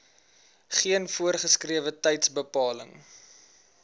geen voorgeskrewe tydsbepaling